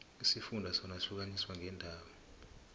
isifunda sona sihlukaniswe ngeendawo